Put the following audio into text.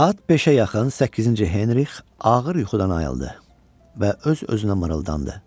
Saat beşə yaxın Səkkizinci Henrix ağır yuxudan ayıldı və öz-özünə mırıldandı.